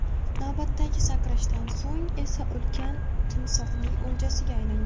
Navbatdagi sakrashdan so‘ng esa ulkan timsohning o‘ljasiga aylangan.